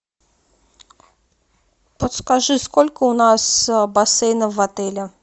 подскажи сколько у нас бассейнов в отеле